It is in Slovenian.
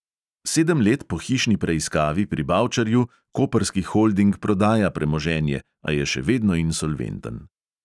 Sedem let po hišni preiskavi pri bavčarju koprski holding prodaja premoženje, a je še vedno insolventen.